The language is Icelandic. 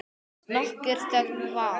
Nokkur þögn varð.